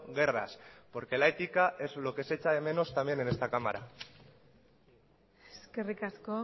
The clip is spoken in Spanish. guerras porque la ética es lo que se echa de menos también en esta cámara eskerrik asko